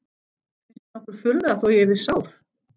Finnst þér nokkur furða þó að ég yrði sár?